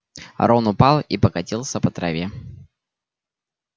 рон упал и покатился по траве